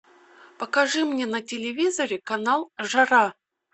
покажи мне на телевизоре канал жара